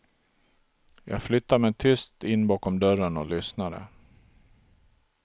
Jag flyttade mig tyst in bakom dörren och lyssnade.